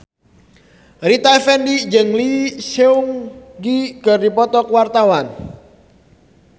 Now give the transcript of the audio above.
Rita Effendy jeung Lee Seung Gi keur dipoto ku wartawan